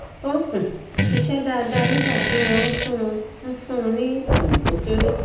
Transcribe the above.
ó um ń ṣiṣẹ dáadáa nígbà tí wọn ń fún ń fún un ní ìwọn tó kéré